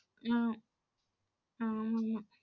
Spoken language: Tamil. அஹ் ஆம் ஆமா